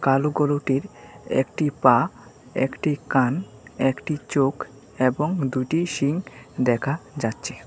কালো গরুটির একটি পা একটি কান একটি চোখ এবং দুটি শিং দেখা যাচ্ছে।